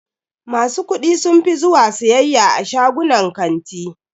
Masu kuɗi sun fi zuwa siyayya a shagunan kanti.